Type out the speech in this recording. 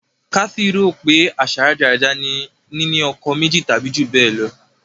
Kathy rò pé àṣà rádaràda ni nínú ọkọ méjì tàbí jù bẹ́ẹ̀ lọ.